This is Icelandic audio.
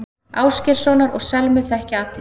Ásgeirssonar og Selmu þekkja allir.